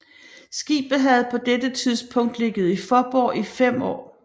Skibet havde på dette tidspunkt ligget i Faaborg i 5 år